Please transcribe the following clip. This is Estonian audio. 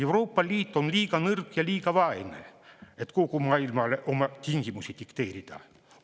Euroopa Liit on liiga nõrk ja liiga vaene, et kogu maailmale oma tingimusi dikteerida.